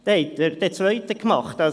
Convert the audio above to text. Dann haben Sie den Schaden.